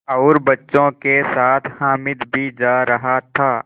और बच्चों के साथ हामिद भी जा रहा था